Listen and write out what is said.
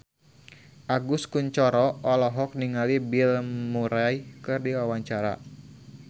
Agus Kuncoro olohok ningali Bill Murray keur diwawancara